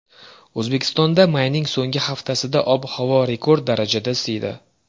O‘zbekistonda mayning so‘nggi haftasida ob-havo rekord darajada isiydi.